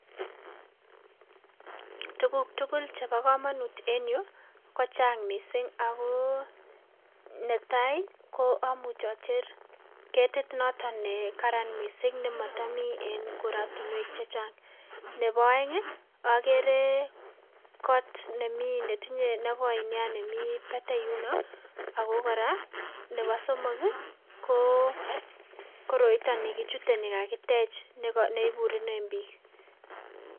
Tukuk tukul chebo komonut en yuu kochang mising ak ko netai ko amuuch ocher ketit noton nekaran mising nemotomii en korotinwek chechang, neboo oeng okeree koot nemii netinye nekoi neaa nemii batai yunoo ak ko koraa neboo somok ko koroiton nikichute nikakitech neiburunen biik.